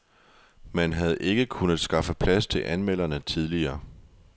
Man havde ikke kunnet skaffe plads til anmelderne tidligere.